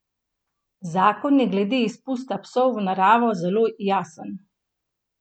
Zakon je glede izpusta psov v naravo zelo jasen.